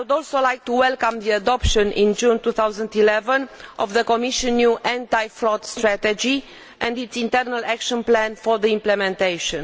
I would also like to welcome the adoption in June 2011 of the Commission's new anti fraud strategy and its internal action plan for implementation.